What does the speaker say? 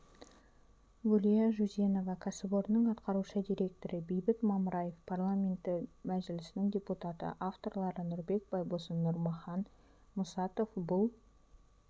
гүлия жүзенова кәсіпорынның атқарушы директоры бейбіт мамраев парламенті мәжілісінің депутаты авторлары нұрбек байбосын нұрмахан мұсатов бұл